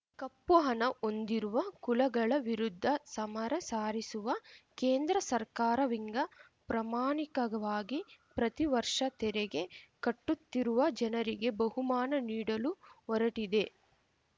ಕಪ್ಪು ಹಣ ಹೊಂದಿರುವ ಕುಳಗಳ ವಿರುದ್ಧ ಸಮರ ಸಾರಿಸುವ ಕೇಂದ್ರ ಸರ್ಕಾರವಿಂಗ ಪ್ರಾಮಾಣಿಕವಾಗಿ ಪ್ರತಿ ವರ್ಷ ತೆರೆಗೆ ಕಟ್ಟುತ್ತಿರುವ ಜನರಿಗೆ ಬಹುಮಾನ ನೀಡಲು ಹೊರಟಿದೆ